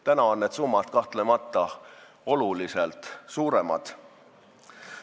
Praegu on need summad kahtlemata oluliselt suuremad.